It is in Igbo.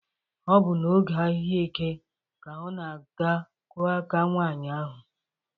Ọ bụ na oge ahịa eke ka ọ ga-aga kụọ aka nwaanyị ahụ.